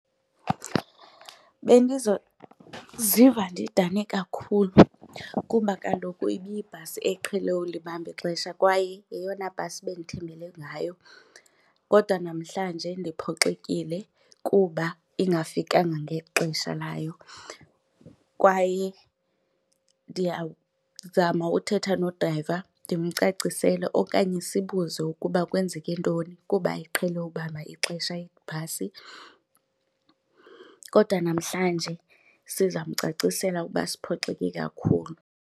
Bendizoziva ndidane kakhulu kuba kaloku ibiyibhasi eqhele ukulibamba ixesha kwaye yeyona bhasi bendithembele ngayo kodwa namhlanje ndiphoxekile kuba ingafikanga ngexesha layo. Kwaye ndiyazama uthetha nodrayiva ndimcacisele okanye sibuze ukuba kwenzeke ntoni kuba iqhele ulibamba ixesha ibhasi kodwa namhlanje sizamcacisela ukuba siphoxeke kakhulu.